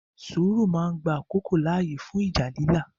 Sùúrù máa ń gba àkókò láàyè fún ìjà lílà.